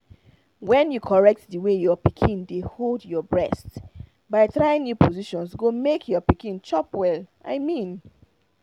when you correct the way your pikin dey hold your breast by trying new positions go make your pikin chop well i mean